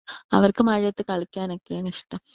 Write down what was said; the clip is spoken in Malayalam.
അവർക്ക് മഴയത്ത് കളിക്കാനൊക്കെയാണ് ഇഷ്ട്ടം.